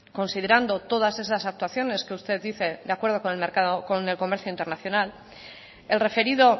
considerando todas esas actuaciones que usted dice de acuerdo con el comercio internacional el referido